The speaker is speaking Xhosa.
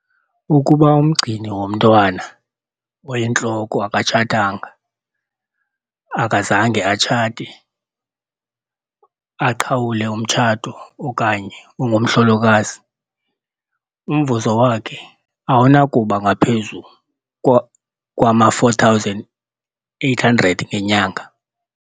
Ukuba umgcini womntwana oyintloko akatshatanga akazange atshate, aqhawule umtshato okanye ungumhlolokazi, umvuzo wakhe awunakuba ngaphezu kwama-R4 800 ngenyanga.